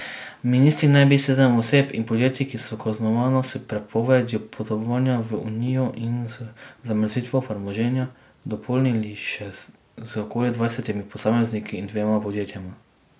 Ministri naj bi seznam oseb in podjetij, ki so kaznovana s prepovedjo potovanja v unijo in z zamrznitvijo premoženja, dopolnili še z okoli dvajsetimi posamezniki in dvema podjetjema.